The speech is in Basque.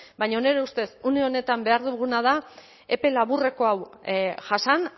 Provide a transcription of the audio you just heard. baina nire ustez une honetan behar duguna da epe laburreko hau jasan